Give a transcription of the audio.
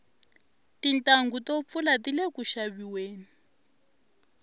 tintanghu to pfula tile ku xaviweni